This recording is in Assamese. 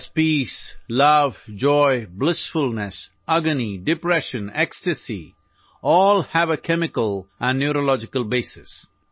আমি যিবোৰক শান্তি প্ৰেম আনন্দ বিষ হতাশা ইউফৰিয়া বুলি কওঁ সকলোবোৰৰ ৰাসায়নিক স্নায়ুবিজ্ঞানৰ ভিত্তি আছে